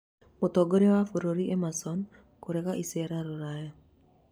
Mũtongoria wa bũrũri Emerson kũrega icera Rũraya